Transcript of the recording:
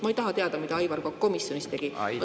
Ma ei taha teada, mida Aivar Kokk komisjonis tegi.